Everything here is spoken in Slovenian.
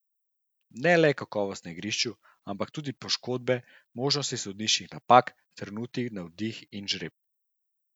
Ne le kakovost na igrišču, ampak tudi poškodbe, možnosti sodniških napak, trenutni navdih in žreb.